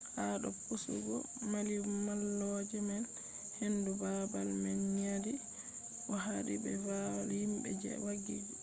ha do pusugo mallimalloje man hendu babal man nyadi bo hadi be valla himbe je daggi totton